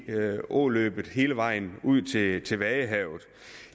i åløbet hele vejen ud til til vadehavet